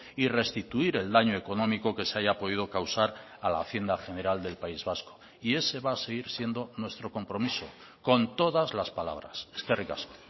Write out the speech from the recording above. y restituir el daño económico que se haya podido causar a la hacienda general del país vasco y ese va a seguir siendo nuestro compromiso con todas las palabras eskerrik asko